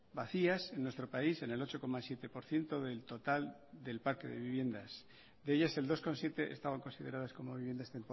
vacías en nuestro país en el ocho coma siete por ciento del total del parque de viviendas de ellas el dos coma siete estaban consideradas como viviendas